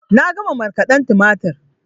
Na gama markaden tumatur